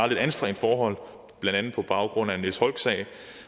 lidt anstrengt forhold blandt andet på baggrund af niels holck sagen